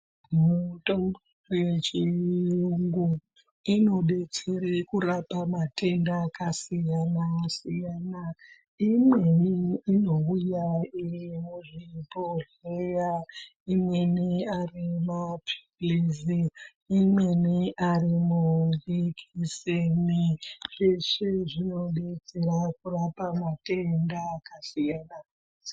Mutombo yechiyungu inodetsere kurapa matenda akasiyana-siyana. Imweni inouya iri muzvibhohleya, imweni ari maphilizi, imweni ari majekiseni. Zveshe zvinodetsera kurapa matenda akasiyana-siyana....